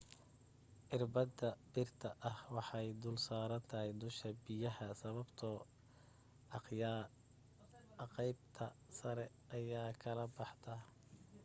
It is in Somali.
irbada birta ah waxay dul saarnataa dusha biyaha sababtoo aqeybta sare ayaa kala baxda